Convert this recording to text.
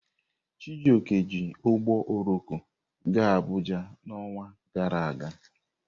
Chijioke ji ụgbọ oloko gaa Abuja n'ọnwa gara aga.